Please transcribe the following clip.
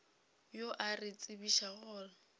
yo a re tsebišago gore